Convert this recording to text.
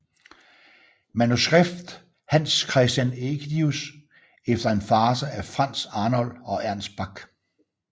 Manuskript Hans Christian Ægidius efter en farce af Franz Arnold og Ernst Bach